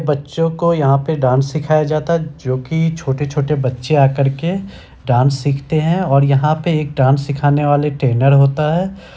बच्चों को यहाँ पे डांस सिखाया जाता है जो की छोटे-छोटे बच्चे आ करके डांस सिखते हैं और यहाँ पे एक डांस सिखाने वाले ट्रेनर होता है।